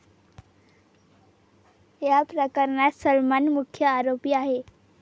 या प्रकरणात सलमान मुख्य आरोपी आहे.